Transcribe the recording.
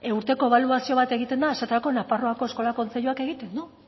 urteko ebaluazio bat egiten da esaterako nafarroako eskola kontseiluak egiten du